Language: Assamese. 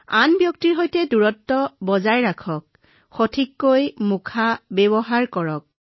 অনুগ্ৰহ কৰি শাৰীৰিকভাৱে দূৰত্ব ৰখা মাস্ক ভালদৰে পিন্ধা নিয়মীয়াকৈ হাত ধোৱা আৰু আপুনি ঘৰতে অনুশীলন কৰিব পৰা ঘৰুৱা প্ৰতিকাৰৰ অভ্যাস কৰক